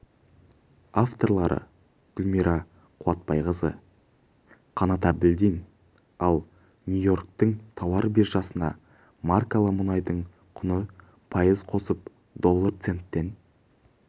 авторлары гүлмайра қуатбайқызы қанат әбілдин ал нью-йорктің тауар биржасында маркалы мұнайдың құны пайыз қосып доллар центтен